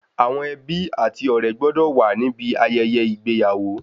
Àwọn ẹbí ati ọ̀rẹ́ gbọ́dọ̀ wa níbi ayẹyẹ ìgbéyàwó